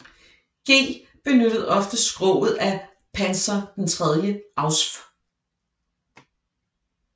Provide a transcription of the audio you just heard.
G benyttede ofte skroget af Panzer III Ausf